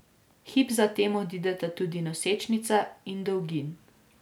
Hip zatem odideta tudi Nosečnica in Dolgin.